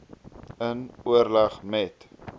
in oorleg met